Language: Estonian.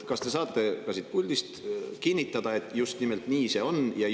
Kas te saate siit puldist kinnitada, et just nimelt nii see on?